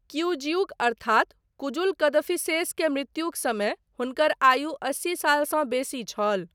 किऊजिउक अर्थात कुजुल कदफिसेस के मृत्युक समय हुनकर आयु अस्सी सालसँ बेसी छल।